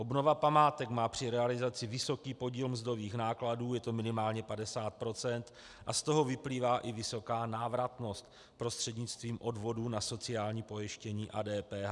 Obnova památek má při realizaci vysoký podíl mzdových nákladů, je to minimálně 50 %, a z toho vyplývá i vysoká návratnost prostřednictvím odvodů na sociální pojištění a DPH.